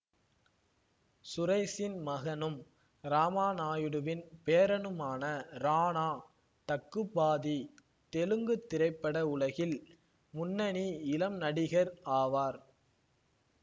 சுரேசின் மகனும் ராமாநாயுடுவின் பேரனுமான ராணா டக்குபாதி தெலுங்கு திரைப்பட உலகில் முன்னணி இளம் நடிகர் ஆவார்